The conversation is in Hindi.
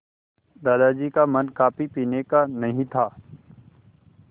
दादाजी का मन कॉफ़ी पीने का नहीं था